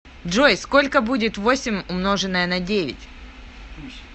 джой сколько будет восемь умноженное на девять